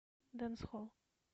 дэнсхолл